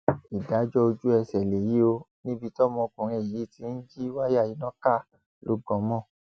ìdájọ ojúẹsẹ lèyí ò níbi tọmọkùnrin yìí ti ń jí wáyà iná ká lọ gan mọ